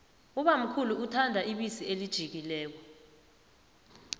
ubamkhulu uthanda ibisi elijiyileko